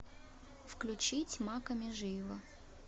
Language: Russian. включить макка межиева